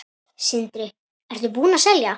Sindri: Ertu búinn að selja?